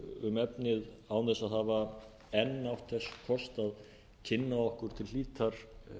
um efnið án þess að hafa enn átt ber kost að kynna okkur til hlítar